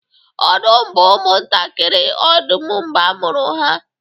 ọdụm bụ ụmụ ntakịrị odum mgbe a mụrụ ha